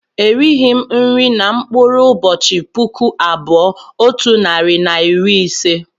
Erighị m nri na mkpụrụ ụbọchị puku abụọ otu narị na iri ise